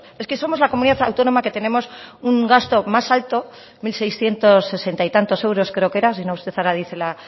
es que somos la comunidad autónoma que tenemos un gasto más alto mil seiscientos sesenta y tantos euros creo que era si no usted ahora dice la